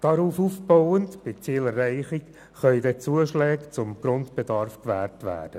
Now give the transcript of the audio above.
Darauf aufbauend können bei Zielerreichung Zuschläge zum Grundbedarf gewährt werden;